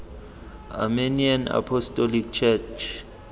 armenian apostolic church